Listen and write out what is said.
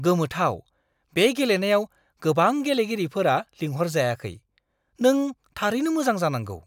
गोमोथाव! बे गेलेनायाव गोबां गेलेगिरिफोरा लिंहरजायाखै। नों थारैनो मोजां जानांगौ!